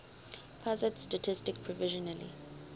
pusat statistik provisionally